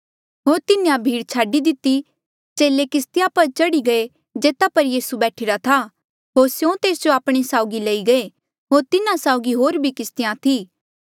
होर तिन्हें भीड़ छाडी दितेया चेले किस्तिया पर चढ़ी गये जेता पर यीसू बैठीरा था होर स्यों तेस जो आपणे साउगी लेई गये होर तिन्हा साउगी होर भी किस्तिया थी